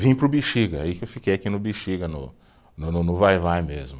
Vim para o Bixiga, aí que eu fiquei aqui no Bixiga, no no no no vai-vai mesmo.